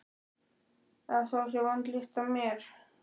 Að það sé vond lykt af mér?